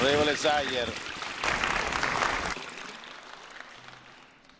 Tisztelt Elnök Úr, tisztelt Miniszterelnök Úr és tisztelt Vergiat Asszony!